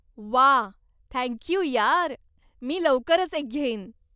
वा. Thank you यार, मी लवकरच एक घेईन.